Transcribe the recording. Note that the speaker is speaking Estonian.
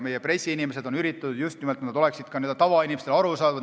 Meie pressiinimesed on just nimelt üritanud, et need oleksid ka n-ö tavainimestele arusaadavad.